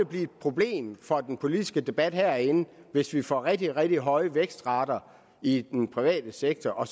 blive et problem for den politiske debat herinde hvis vi får rigtig rigtig høje vækstrater i den private sektor og